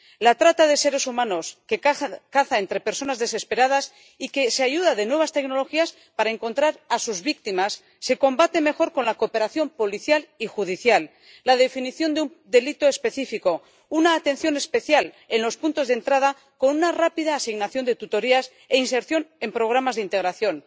La trata de seres humanos, que caza entre personas desesperadas y que se ayuda de nuevas tecnologías para encontrar a sus víctimas, se combate mejor con la cooperación policial y judicial, la definición de un delito específico, una atención especial en los puntos de entrada, con una rápida asignación de tutorías e inserción en programas de integración.